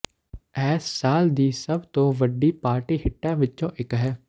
ਇਹ ਸਾਲ ਦੀ ਸਭ ਤੋਂ ਵੱਡੀ ਪਾਰਟੀ ਹਿੱਟਾਂ ਵਿੱਚੋਂ ਇਕ ਹੈ